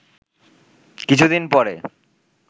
কিছুদিন পরে